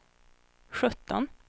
sjutton